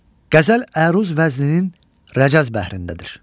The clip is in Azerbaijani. Qəzəl əruz vəzninin rəcəz bəhrindədir.